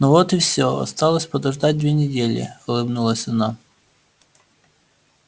ну вот и все осталось подождать две недели улыбнулась она